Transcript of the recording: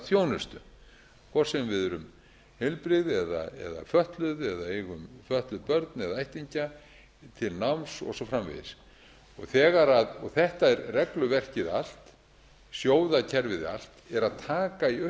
þjónustu hvort sem við erum heilbrigð eða fötluð eða eigum fötluð börn eða ættingja til náms og svo framvegis þetta er regluverkið allt sjóðakerfið allt er að taka í auknum